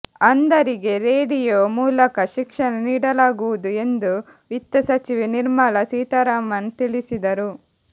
ಅಂಧರಿಗೆ radio ಮೂಲಕ ಶಿಕ್ಷಣ ನೀಡಲಾಗುವುದು ಎಂದು ವಿತ್ತ ಸಚಿವೆ ನಿರ್ಮಲಾ ಸೀತಾರಾಮನ್ ತಿಳಿಸಿದರು